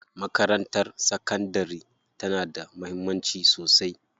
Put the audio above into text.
Makarantar sakandari tana da mahimmanci sosai.